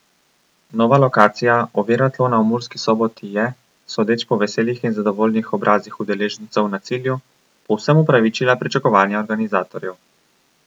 Nova lokacija oviratlona v Murski Soboti je, sodeč po veselih in zadovoljnih obrazih udeležencev na cilju, povsem upravičila pričakovanja organizatorjev.